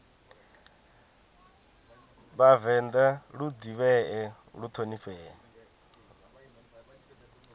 vhavenḓa lu ḓivhee lu ṱhonifhee